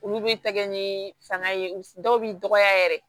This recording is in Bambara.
Olu bɛ tɛgɛ ni fanga ye dɔw bɛ dɔgɔya yɛrɛ